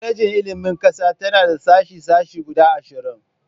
Kwalejin Ilimin ta Ƙasa tana da sashe-sashe guda ashirin